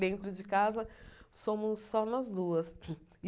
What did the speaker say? Dentro de casa, somos só nós duas.